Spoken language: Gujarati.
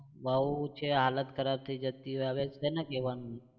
બઉ છે હાલત ખરાબ થઇ જતી હોય હવે કોને કહેવાનું